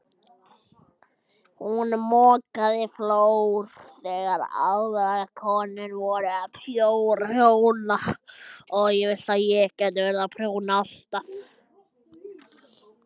Hún mokaði flór þegar aðrar konur voru að prjóna.